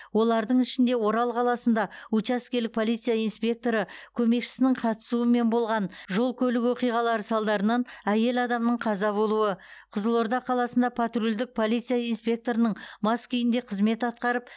олардың ішінде орал қаласында учаскелік полиция инспекторы көмекшісінің қатысуымен болған жол көлік оқиғаларының салдарынан әйел адамның қаза болуы қызылорда қаласында патрульдік полиция инспекторының мас күйінде қызмет атқарып